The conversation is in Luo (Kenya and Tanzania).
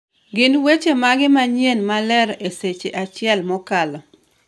gin weche mage manyien maler e seche achiel mokalo